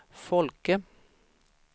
Folke